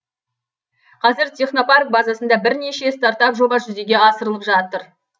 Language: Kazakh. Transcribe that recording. қазір технопарк базасында бірнеше стартап жоба жүзеге асырылып жатыр